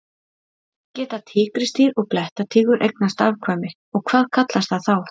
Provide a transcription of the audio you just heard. Geta tígrisdýr og blettatígur eignast afkvæmi og hvað kallast það þá?